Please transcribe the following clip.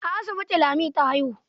A asibiti Lami ta haihu.